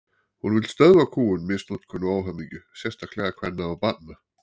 Hún vill stöðva kúgun, misnotkun og óhamingju, sérstaklega kvenna og barna.